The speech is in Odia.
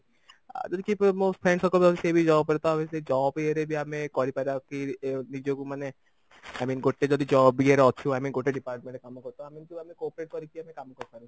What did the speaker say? ଆ ଯଦି କେହି ମୋ friend circle ସେ ବି job କରେ ତ ଆମେ ସେଇ job ଇଏ ରେ ବି ଆମେ କରିପାରିବା କି ଏ ନିଜକୁ ମାନେ i mean ଗୋଟେ ଯଦି job ଇଏରେ ଅଛୁ ଆମେ ଗୋଟେ department ରେ କାମ କରୁ ତ ଆମେ ଏମତି cooperate କରିକି ଆମେ କାମ କରିପାରୁ